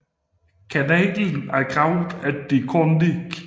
Kanalen er gravet af de Coninck